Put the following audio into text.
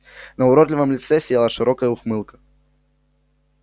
на уродливом лице сияла широкая ухмылка